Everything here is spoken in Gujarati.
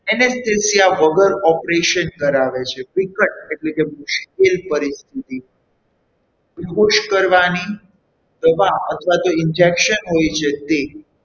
Anesthesia વગર operation કરાવે છે વિકટ એટલે મુશ્કેલ પરિસ્થિતિમાં વિમુક્ષ કરવાની દવા અથવા injection હોય છે તે,